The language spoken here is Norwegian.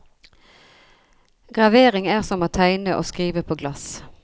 Gravering er som å tegne og skrive på glass.